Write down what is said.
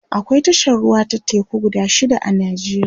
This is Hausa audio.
akwai tashar ruwa ta teku guda shida a nijeriya